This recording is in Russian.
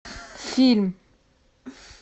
фильм